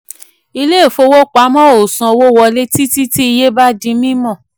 ilé ìfowopamọ́ ò ò sanwó wọlé títí tí iye bá di mímọ̀.